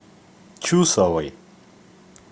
чусовой